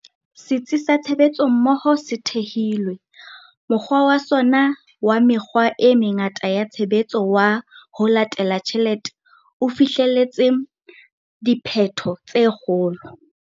Setsi sa Tshebetsommoho se thehilwe, mokgwa wa sona wa mekgwa e mengata ya tshebetso wa 'ho latela tjhelete' o fihleletse diphetho tse kgolo.